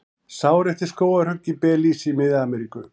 Sár eftir skógarhögg í Belís í Mið-Ameríku.